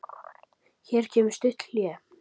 Hér kemur stutt hlé.